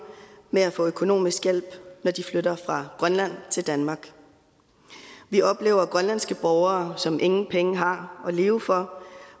med at få økonomisk hjælp når de flytter fra grønland til danmark vi oplever grønlandske borgere som ingen penge har at leve for